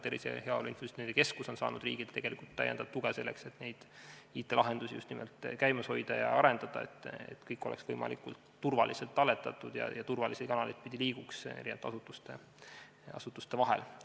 Tervise ja Heaolu Infosüsteemide Keskus on samuti saanud riigilt täiendavat tuge, just nimelt selleks, et IT-lahendusi käimas hoida ja arendada, nii et kõik oleks võimalikult turvaliselt talletatud ja liiguks turvalisi kanaleid pidi eri asutuste vahel.